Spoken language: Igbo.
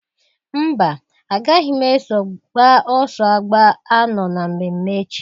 Mba! Agaghị m eso gbaa ọsọ agba anọọ na mmemme echi.